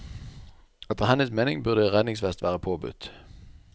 Etter hennes mening burde redningsvest være påbudt.